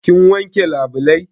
Kin wanke labulai?